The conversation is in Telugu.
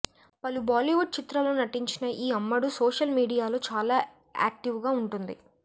పలు బాలీవుడ్ చిత్రాల్లో నటించిన ఈ అమ్మడు సోషల్ మీడియాలో చాలా యాక్టివ్గా ఉంటుంది